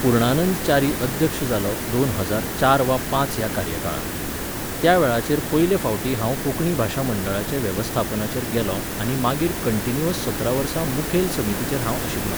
पुर्णानंद च्यारी अध्यक्ष जालो दोन हजार चार वा पांच ह्या कार्यकाळांत. त्या वेळाचेर पयले फावटीं हांव कोंकणी भाशा मंडळाचे वेवस्थापनाचेर गेलों आनी मागीर कन्टिन्यूअस सतरा वर्सां मुखेल समितीचेर हांव आशिल्लो